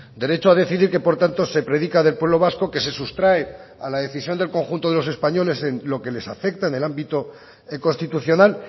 derecho a decidir que por tanto se predica del pueblo vasco que se sustrae a la decisión del conjunto de los españoles en lo que les afecta en el ámbito constitucional